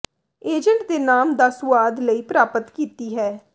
agent ਦੇ ਨਾਮ ਦਾ ਸੁਆਦ ਲਈ ਪ੍ਰਾਪਤ ਕੀਤੀ ਹੈ